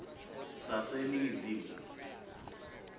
saseningizimu